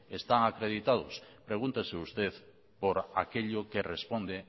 están acreditados pregúntese usted por aquello que responde